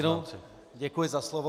Ještě jednou děkuji za slovo.